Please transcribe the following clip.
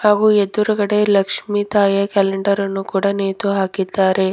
ಓ ಎದುರುಗಡೆ ಲಕ್ಷಿ ತಾಯಿಯ ಕ್ಯಾಲೆಂಡರ್ ಅನ್ನು ಕೂಡ ನೇತು ಹಾಕಿದ್ದಾರೆ.